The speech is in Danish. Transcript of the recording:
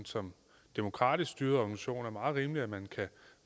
som demokratisk styret organisation er meget rimeligt at man kan